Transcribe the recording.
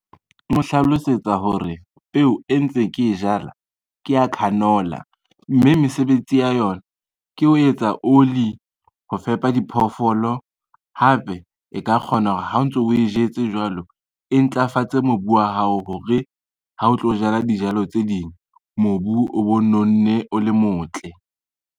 Mo hlalosetsa hore peo e ntse ke e jala ke ya canola, mme mesebetsi ya yona ke ho etsa oli, ho fepa diphoofolo hape e ka kgona hore ha o ntso o e jetse jwalo, e ntlafatse mobu wa hao hore ha o tlo jala dijalo tse ding mobu o bo nonne o le motle.